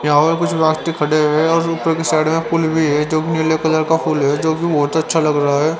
यहा और कुछ खड़े है और उपर के साइड मे फूल भी है जो नीले कलर का फूल है जो कि बहोत अच्छा लग रहा है।